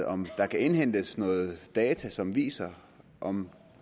om der kan indhentes nogle data som viser om